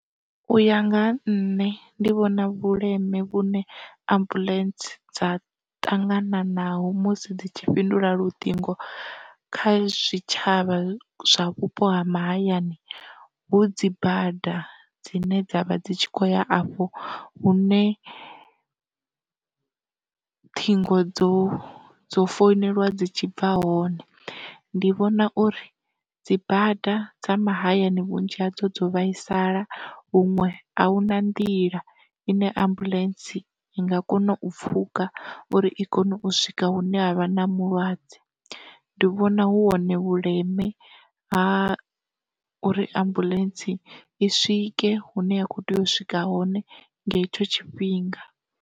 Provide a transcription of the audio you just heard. Uya nga ha nṋe ndi vhona vhuleme vhune ambuḽentse dza tangananaho musi dzi tshi fhindula luṱingo kha zwitshavha zwa vhupo ha mahayani, hu dzi bada dzine dzavha dzi tshi kho ya afho hu ne ṱhingo dzo dzo founeliwa dzi tshi bva hone, ndi vhona uri dzibada dza mahayani vhunzhi hadzo dzo vhaisala huṅwe ahuna nḓila ine ambuḽentse i nga kona u pfhuka uri i kone u swika hune ha vha namulwadze. Ndi vhona hu hone vhuleme ha uri ambuḽentse i swike hune ya kho tea u swika hone nga tshetsho tshifhinga.